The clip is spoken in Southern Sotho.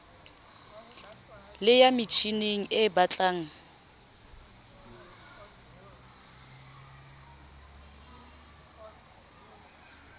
le ya metjhining e betlang